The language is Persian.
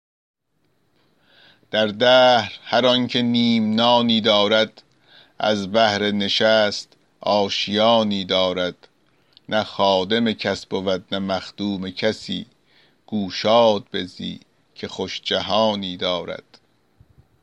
در دهر هر آن که نیم نانی دارد از بهر نشست آشیانی دارد نه خادم کس بود نه مخدوم کسی گو شاد بزی که خوش جهانی دارد